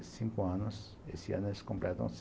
cinco anos, esse ano eles completam seis